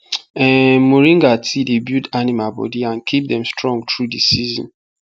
um moringa tea dey build animal body and keep dem strong through the season